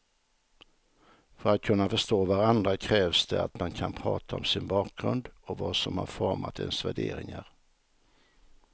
För att kunna förstå varandra krävs det att man kan prata om sin bakgrund och vad som har format ens värderingar.